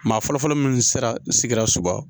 Maa fɔlɔfɔlɔ minnu sera sigida soba